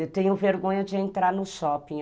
Eu tenho vergonha de entrar no shopping.